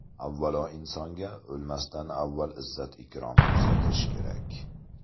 Avvalo, insonga o‘lmasidan avval izzat-ikrom ko‘rsatish kerak.